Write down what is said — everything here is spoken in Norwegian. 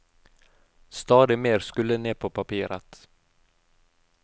Stadig mer skulle ned på papiret.